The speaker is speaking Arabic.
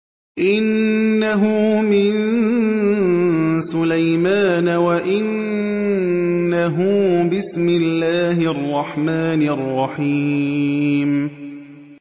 إِنَّهُ مِن سُلَيْمَانَ وَإِنَّهُ بِسْمِ اللَّهِ الرَّحْمَٰنِ الرَّحِيمِ